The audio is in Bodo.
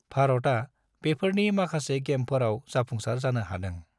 भारता बेफोरनि माखासे गेमफोराव जाफुंसार जानो हादों।